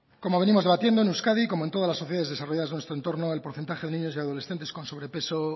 como venimos debatiendo en euskadi como en todas las sociedades desarrolladas de nuestro entorno el porcentaje de niños y adolescentes con sobrepeso